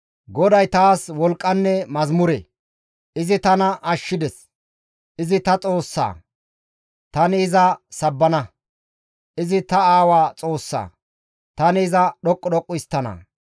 GODAY taas wolqqanne mazamure; izi tana ashshides. Izi ta Xoossa; tani iza sabbana. Izi ta aawa Xoossa; tani iza dhoqqu dhoqqu histtana.